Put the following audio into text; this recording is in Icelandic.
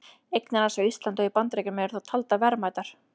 Eignir hans á Íslandi og í Bandaríkjunum eru þó taldar verðmætar.